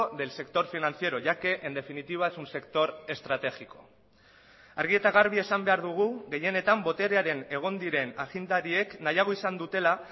del sector financiero ya que en definitiva es un sector estratégico argi eta garbi esan behar dugu gehienetan boterearen egon diren agindariek nahiago izan dutela